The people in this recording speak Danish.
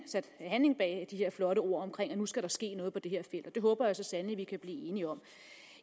sat handling bag de her flotte ord om at nu skal der ske noget på det her felt det håber jeg så sandelig at vi kan blive enige om